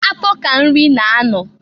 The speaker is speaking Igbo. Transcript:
Afọ ka nri na-anọ.